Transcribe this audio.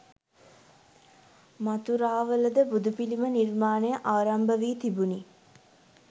මථුරාවලද බුදුපිළිම නිර්මාණය ආරම්භ වී තිබුණි.